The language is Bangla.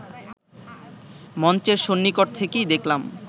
মঞ্চের সন্নিকট থেকেই দেখলাম